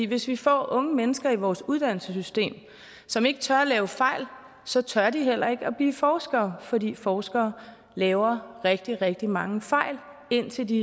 hvis vi får unge mennesker i vores uddannelsessystem som ikke tør lave fejl så tør de heller ikke at blive forskere fordi forskere laver rigtig rigtig mange fejl indtil de